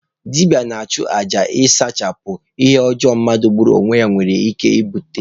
Dibịa ga-achụ aja iji sachapụ ihe ọjọọ mmadụ igbu onwe ya nwere ike ibute.